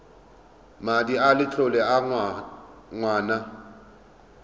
madi a letlole a ngwana